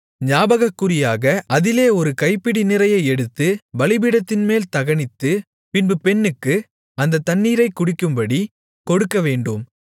ஞாபகக்குறியாக அதிலே ஒரு கைப்பிடி நிறைய எடுத்து பீடத்தின்மேல் தகனித்து பின்பு பெண்ணுக்கு அந்த தண்ணீரைக்குடிக்கும்படி கொடுக்கவேண்டும்